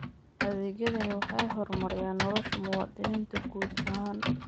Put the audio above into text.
Adeegyadani waxay horumariyaan nolosha muwaadiniinta guud ahaan.